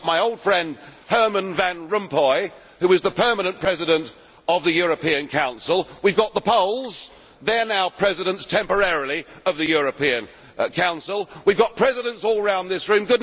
we have got my old friend Herman van Rompuy who is the permanent President of the European Council we have got the Poles, they are now presidents temporarily of the European Council we have got presidents all round this